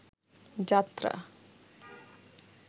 যাত্রা